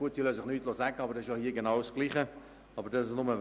Sie lassen sich nichts sagen, aber das ist ja hier genau dasselbe.